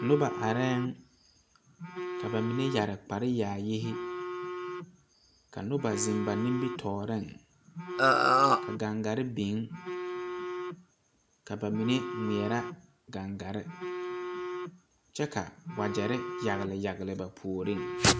Noba areŋ ka ba mine yɛre kpare yaayi ka noba zeŋ ba nimitɔɔreŋ ka gaŋgare biŋ ka ba mine ŋmeɛrɛ gaŋgare kyɛ ka wagyɛre yagle yagle ba puoriŋ.